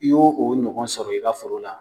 I y'o o ɲɔgɔn sɔrɔ i ka foro la.